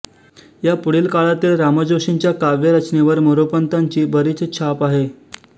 या पुढील काळातील रामजोशींच्या काव्यरचनेवर मोरोपंतांची बरीच छाप आहे